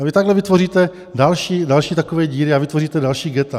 A vy takhle vytvoříte další takové díry a vytvoříte další ghetta.